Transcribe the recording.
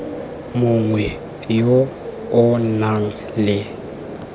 mongwe yo o nang le